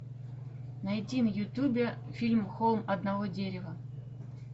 найди в ютубе фильм холм одного дерева